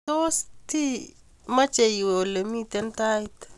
Tos ti mache iwe ole mito tait